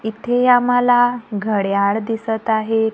इथे आम्हाला घड्याळ दिसत आहे.